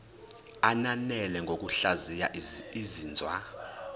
ananele ngokuhlaziya izinzwa